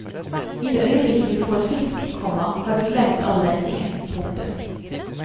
I det øyeblikk du får fisk, komma har du glemt all ventingen. punktum